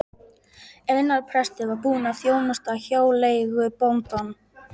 Einar prestur var búinn að þjónusta hjáleigubóndann.